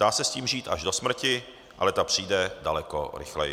Dá se s tím žít až do smrti, ale ta přijde daleko rychleji.